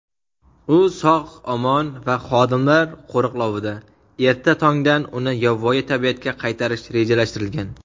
U sog‘-omon va xodimlar qo‘riqlovida. Erta tongdan uni yovvoyi tabiatga qaytarish rejalashtirilgan.